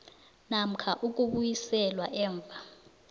namkha ukubuyiselwa emva